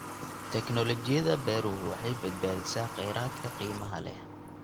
Tignoolajiyada beeruhu waxay badbaadisaa kheyraadka qiimaha leh.